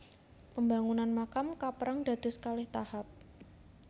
Pambangunan makam kapérang dados kalih tahap